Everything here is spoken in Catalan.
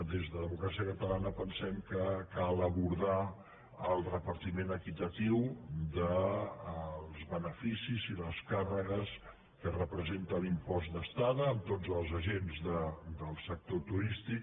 des de democràcia catalana pensem que cal abordar el repartiment equitatiu dels beneficis i les càrregues que representa l’impost d’estada amb tots els agents del sector turístic